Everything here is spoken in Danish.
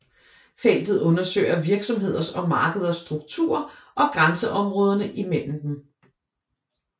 Feltet undersøger virksomheders og markeders struktur og grænseområderne mellem dem